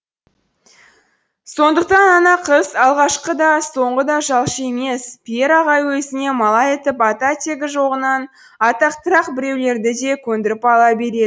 сондықтан ана қыз алғашқы да соңғы да жалшы емес пьер ағай өзіне малай етіп ата тегі жағынан атақтырақ біреулерді де көндіріп ала береді